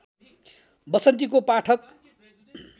वसन्तीको पाठक